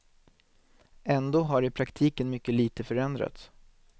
Ändå har i praktiken mycket lite förändrats.